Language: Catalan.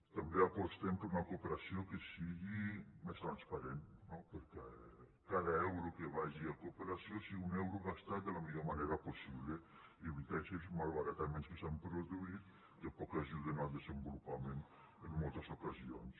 també apostem per una cooperació que sigui més transparent no perquè cada euro que vagi a cooperació sigui un euro gastat de la millor manera possible i evitar així malbarataments que s’han produït que poc ajuden al desenvolupament en moltes ocasions